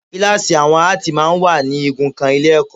Kíláàsì àwọn Áàtì máa ń wà ní igun kan Ilé-ẹ̀kọ́